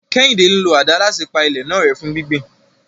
Kehinde ń lo àdá láti pa ilẹ̀ náà rẹ́ fún gbígbìn.